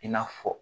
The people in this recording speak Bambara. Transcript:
I n'a fɔ